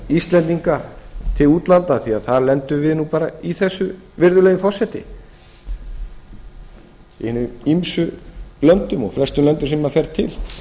íslendinga til útlanda því að þar lendum við bara í þessu virðulegi forseti í hinum ýmsu löndum og flestum löndum sem maður fer til